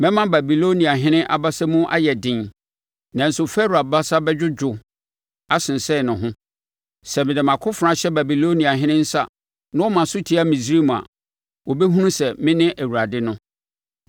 Mɛma Babiloniahene abasa mu ayɛ den, nanso Farao abasa bɛdwodwo asensɛn ne ho. Sɛ mede mʼakofena hyɛ Babiloniahene nsa na ɔma so tia Misraim a, wɔbɛhunu sɛ mene Awurade no.